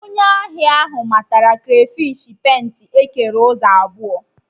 Onye ahịa ahụ matara krafish penta ekere ụzọ abụọ